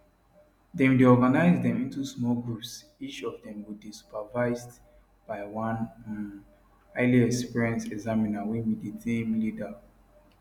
dem dey organise dem into small groups each of dem go dey supervised by one um highly experienced examiner wey be di team leader